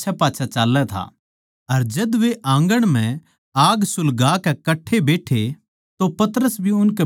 अर जद वे आँगण म्ह आग सुलगाकै कट्ठे बैट्ठे अर पतरस भी उसके बिचाळै बैठग्या